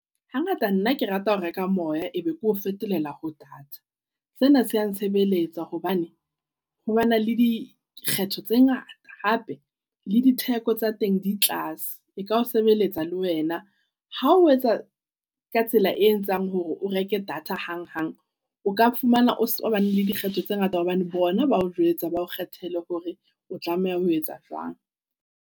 Hangata nna kerata ho reka moya e be keo fetolela ho data. Sena se a ntshebeletsa hobane ho bana le dikgetho tse ngata hape le ditheko tsa teng di tlase. E ka o sebeletsa le wena. Ha o etsa ka tsela e etsang hore o reke data hang hang. O ka fumana o sa bane le dikgetho tse ngata hobane bona bao jwetsa bao kgethele hore o tlameha ho etsa jwang.